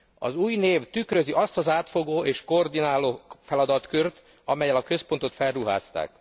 Az új név tükrözi azt az átfogó és koordináló feladatkört, amellyel a központot felruházták.